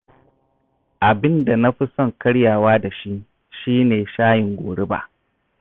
Abin da na fi son karyawa da shi, shi ne shayin goriba